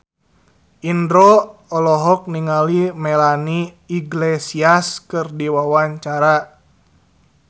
Indro olohok ningali Melanie Iglesias keur diwawancara